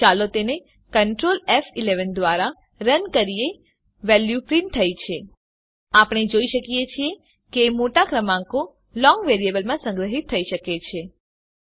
ચાલો તેને Ctrl ફ11 દ્વારા રન કરીએ વેલ્યુ પ્રીંટ થઇ છે આપણે જોઈ શકીએ છીએ કે મોટા ક્રમાંકો લોંગ વેરીએબલમાં સંગ્રહીત થઇ શકે છે